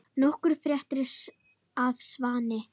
Nokkuð frétt af Svani?